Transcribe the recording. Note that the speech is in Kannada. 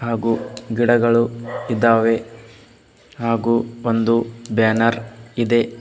ಹಾಗು ಗಿಡಗಳು ಇದ್ದಾವೆ ಹಾಗು ಒಂದು ಬ್ಯಾನರ್ ಇದೆ.